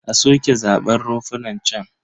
A soke zaɓen runfunan can.